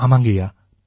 ஆமாங்கய்யா